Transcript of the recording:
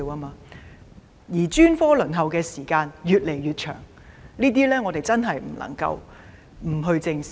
此外，專科治療的輪候時間越來越長，這些問題真的不能不正視。